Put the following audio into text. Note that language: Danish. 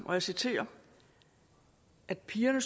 og jeg citerer at pigerne